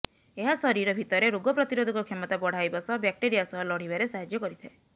ଏହା ଶରୀର ଭିତରେ ରୋଗ ପ୍ରତିରୋଧକ କ୍ଷମତା ବଢାଇବା ସହ ବ୍ୟାକ୍ଟେରିଆ ସହ ଲଢିବାରେ ସାହାଯ୍ୟ କରିଥାଏ